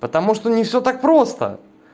потому что не все так просто